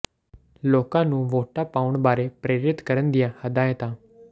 ਲੋਕਾਂ ਨੂੰ ਵੋਟਾਂ ਪਾਉਣ ਬਾਰੇ ਪ੍ਰੇਰਿਤ ਕਰਨ ਦੀਆਂ ਹਦਾਇਤਾਂ